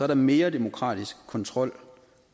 der mere demokratisk kontrol